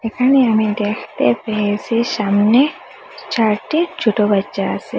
এখানে আমি দেখতে পেয়েসি সামনে চারটি ছোটো বাচ্চা আসে ।